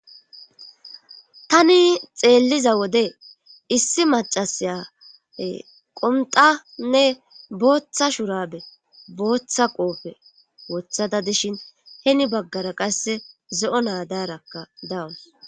Tani xeelliza wode issi macasaya qomtanne booththa shurabe booththa qoofe wothada dishin heni baggara qasse ze'o naadaarakka dawus.